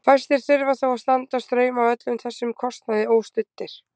Fæstir þurfa þó að standa straum af öllum þessum kostnaði óstuddir.